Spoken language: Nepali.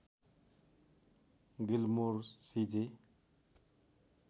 गिल्मोर सी जे